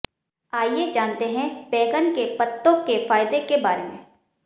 आइए जानते हैं बैंगन के पत्तों के फायदों के बारे में